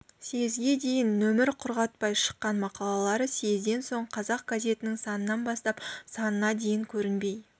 съезге дейін нөмір құрғатпай шыққан мақалалары съезден соң қазақ газетінің санынан бастап санына дейін көрінбей